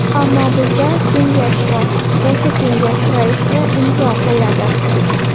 Ammo bizda kengash bor, o‘sha kengash raisi imzo qo‘yadi.